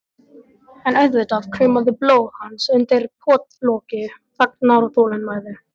En auðvitað kraumaði blóð hans undir pottloki þagnar og þolinmæði.